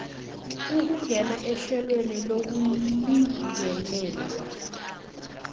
ukungena ehlelweni lokulingelelwa